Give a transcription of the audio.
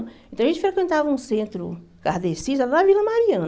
Então, a gente frequentava um centro cardecista na Vila Mariana.